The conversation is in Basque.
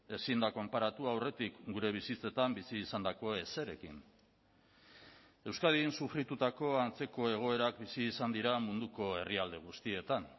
ezin da konparatu aurretik gure bizitzetan bizi izandako ezerekin euskadin sufritutako antzeko egoerak bizi izan dira munduko herrialde guztietan